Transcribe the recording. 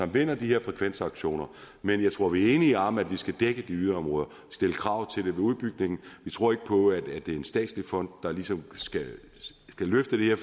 vinder de her frekvensauktioner men jeg tror vi er enige om at vi skal dække de yderområder stille krav til det ved udbygningen vi tror ikke på at det er en statslig fond der ligesom skal løfte det her